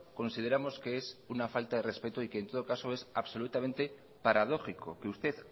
consideramos que es una falta de respeto y que en todo caso es absolutamente paradójico que usted